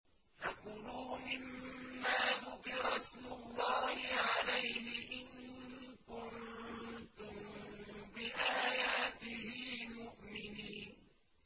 فَكُلُوا مِمَّا ذُكِرَ اسْمُ اللَّهِ عَلَيْهِ إِن كُنتُم بِآيَاتِهِ مُؤْمِنِينَ